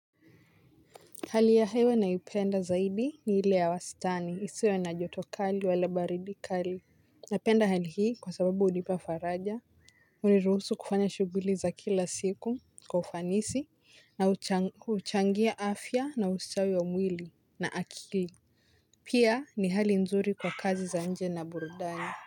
Hali ya hewa naipenda zaidi ni ile ya wastani isiwe na joto kali wala baridi kali. Napenda hali hii kwa sababu hudipa faraja. Huniruhusu kufanya shughuli za kila siku kwa ufanisi na hucha huchangia afya na usitawi wa mwili na akili. Pia ni hali nzuri kwa kazi za nje na burudani.